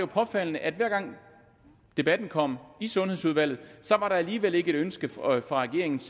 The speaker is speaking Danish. påfaldende at hver gang debatten kom i sundhedsudvalget var der alligevel ikke et ønske fra regeringens